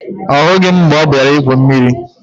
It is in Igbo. Ọ hụghị m mgbe ọ bịara igwu mmiri